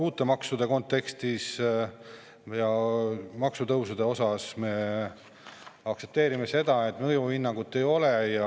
Uute maksude ja maksutõusude osas me aktsepteerime seda, et mõjuhinnangut ei ole.